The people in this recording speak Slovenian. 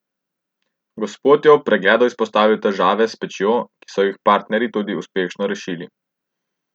Gospod je ob pregledu izpostavil težave s pečjo, ki so jih partnerji tudi uspešno rešili.